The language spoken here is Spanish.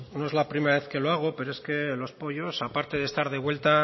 no es la primera vez que lo hago pero es que los pollos aparte de estar de vuelta